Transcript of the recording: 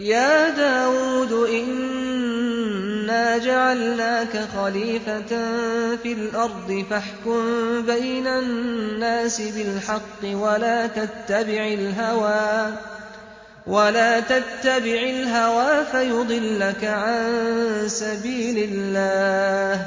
يَا دَاوُودُ إِنَّا جَعَلْنَاكَ خَلِيفَةً فِي الْأَرْضِ فَاحْكُم بَيْنَ النَّاسِ بِالْحَقِّ وَلَا تَتَّبِعِ الْهَوَىٰ فَيُضِلَّكَ عَن سَبِيلِ اللَّهِ ۚ